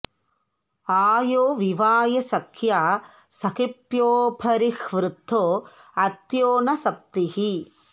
आ यो वि॒वाय॑ स॒ख्या सखि॒भ्योऽप॑रिह्वृतो॒ अत्यो॒ न सप्तिः॑